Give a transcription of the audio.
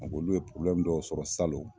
Olu ye porobilɛmu dɔw sɔrɔ salon